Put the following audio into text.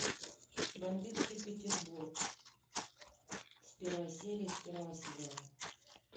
бандитский петербург с первой серии с первого сезона